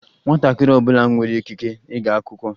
Nwatakịrị ọ bụla nwere ikike ịga akwụkwọ.